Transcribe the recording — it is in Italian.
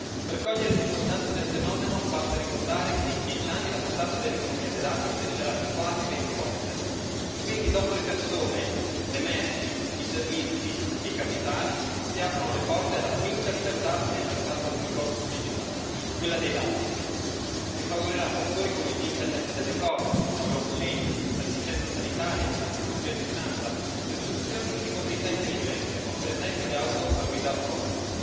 Per cogliere l'importanza del fenomeno, basta ricordare che in dieci anni la portata dell'economia dei dati crescerà di quasi venti volte e quindi dopo le persone, le merci, i servizi e i capitali, si aprono le porte alla quinta libertà nel mercato unico digitale, quella dei dati, che favorirà settori come l'internet delle cose, la blockchain, l'assistenza sanitaria, la chirurgia a distanza e le soluzioni di mobilità intelligente, come per esempio le auto a guida autonoma.